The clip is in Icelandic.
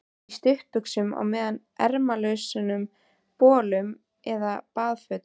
Í stuttbuxum og ermalausum bolum eða baðfötum.